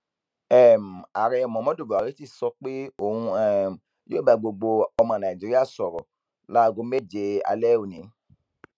um ààrẹ muhammadu buhari ti sọ pé òun um yóò bá gbogbo ọmọ nàíjíríà sọrọ láago méje alẹ òní